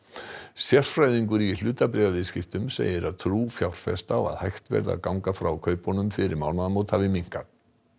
sérfræðingur í hlutabréfaviðskiptum segir að trú fjárfesta á að hægt verði að ganga frá kaupunum fyrir mánaðamót hafi minnkað